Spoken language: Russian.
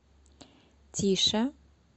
тише